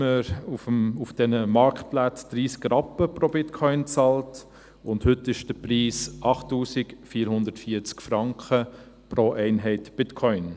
2011 bezahlte man auf diesen Marktplätzen 30 Rappen pro Bitcoin, und heute ist der Preis 8440 Franken pro Einheit Bitcoin.